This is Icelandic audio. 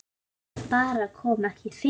Það bara kom ekki fyrir.